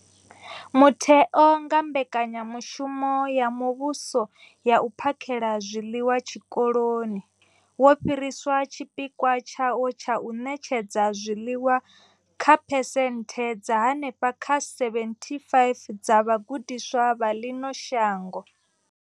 Mutheo, nga kha mbekanyamushumo ya muvhuso ya u phakhela zwiḽiwa zwikoloni, wo fhirisa tshipikwa tshawo tsha u ṋetshedza zwiḽiwa kha phesenthe dza henefha kha 75 dza vhagudiswa vha ḽino shango.